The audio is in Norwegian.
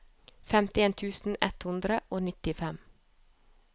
femtien tusen ett hundre og nittifem